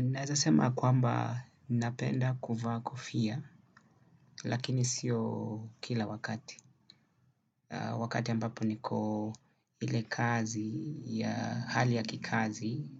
Naeza sema kwamba napenda kuvaa kofia lakini sio kila wakati. Wakati ambapo niko ile kazi ya hali ya kikazi